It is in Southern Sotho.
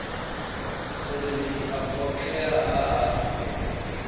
sereledi a phoqeha ha a